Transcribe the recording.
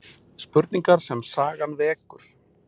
Spurningar sem sagan vekur